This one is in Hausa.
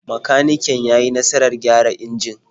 Makaniken ya yi nasarar gyara injin.